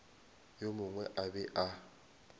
yo mongwe a be a